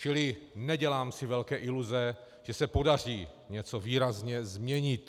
Čili nedělám si velké iluze, že se podaří něco výrazně změnit.